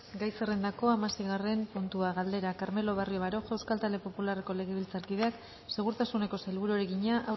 gai zerrendako hamaseigarren puntua galdera carmelo barrio baroja euskal talde popularreko legebiltzarkideak segurtasuneko sailburuari egina